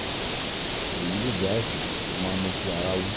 èyí lè jẹ́ àìsàn tó máa ń mú kí ara wú